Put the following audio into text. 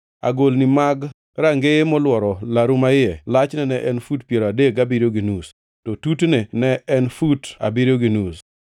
Agolni mag rangeye molworo laru maiye lachne ne en fut piero adek gabiriyo gi nus, to tutne ne en fut abiriyo gi nus.